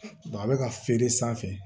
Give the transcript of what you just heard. a bɛ ka feere sanfɛ